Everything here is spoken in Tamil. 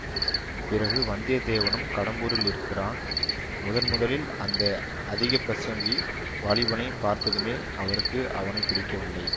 பிறகு வந்தியத்தேவனும் கடம்பூரில் இருக்கிறான் முதன் முதலில் அந்த அதிகப்பிரசங்கி வாலிபனைப் பார்த்ததுமே அவருக்கு அவனை பிடிக்கவில்லை